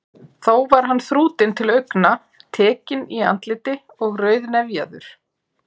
Þó var hann þrútinn til augna, tekinn í andliti og rauðnefjaður.